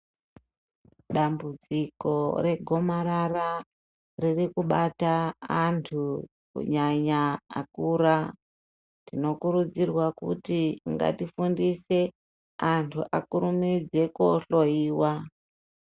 Dambudziko regomarara riri kubata antu kunyanya akura, tinokurudzirwa kuti ngatifundise anhu akurumidze koohloiwa.